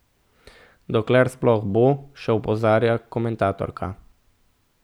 Dokler sploh bo, še opozarja komentatorka.